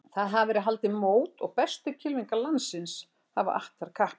Þar hafa verið haldin mót og bestu kylfingar landsins hafa att þar kappi.